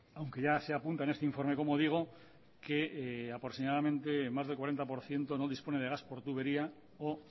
aunque ya se apunta en este informe como digo que aproximadamente más del cuarenta por ciento no dispone de gas por tubería o